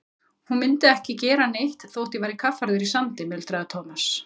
Hún myndi ekki gera neitt þótt ég væri kaffærður í sandi muldraði Thomas.